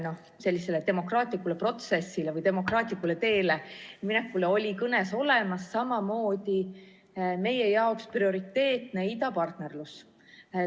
Viide Eesti pikale demokraatlikule protsessile või demokraatlikule teele minekule oli kõnes olemas, samamoodi meie jaoks prioriteetne idapartnerlus.